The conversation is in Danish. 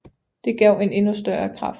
Det gav en endnu større kraft